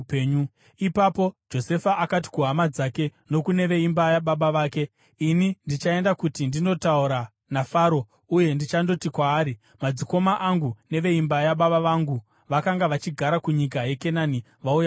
Ipapo Josefa akati kuhama dzake nokune veimba yababa vake, “Ini ndichaenda kuti ndinotaura naFaro uye ndichandoti kwaari, ‘Madzikoma angu neveimba yababa vangu, vakanga vachigara kunyika yeKenani, vauya kwandiri.